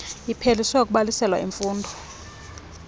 iphelise ukubhaliselwa imfundo